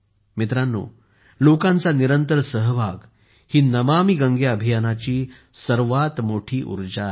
मित्रांनो लोकांचा निरंतर सहभाग ही नमामि गंगे अभियानाची सर्वात मोठी उर्जा आहे